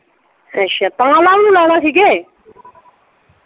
ਅੱਛਾ ਪਵਨ ਹੁਣਾ ਨੂੰ ਲਾਉਣਾ ਸੀ ਕਿ।